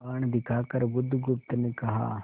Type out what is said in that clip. कृपाण दिखाकर बुधगुप्त ने कहा